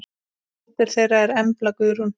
Dóttir þeirra er Embla Guðrún.